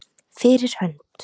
Fyrir hönd.